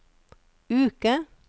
uke